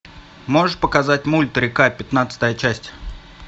можешь показать мульт река пятнадцатая часть